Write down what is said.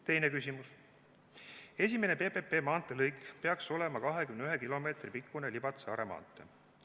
Teine küsimus: "Esimene PPP maanteelõik peaks olema 21 kilomeetri pikkune Libatse–Are maantee.